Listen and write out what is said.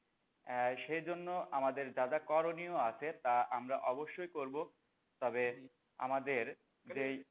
আহ সেজন্য আমাদের যা যা করণীয় আছে তা আমরা অবশ্যই করবো তবে আমাদের যেই